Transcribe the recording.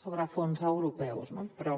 sobre fons europeus no però